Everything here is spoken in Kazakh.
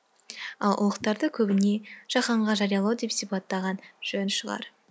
ал ұлықтарды көбіне жаһанға жариялау деп сипаттаған жөн шығар